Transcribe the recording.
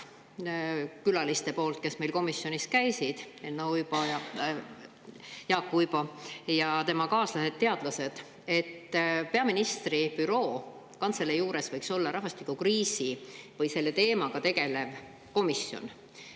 Seal tegid külalised, teadlased, kes meil komisjonis käisid – Jaak Uibo ja tema kaaslased – ettepaneku, et peaministri büroo juures võiks olla rahvastikukriisi teemaga tegelev komisjon.